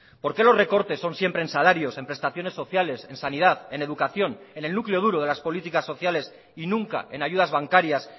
por qué los recortes son siempre en salarios en prestaciones sociales en sanidad en educación en el núcleo duro de las políticas sociales y nunca en ayudas bancarias